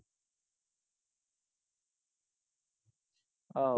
ਆਹ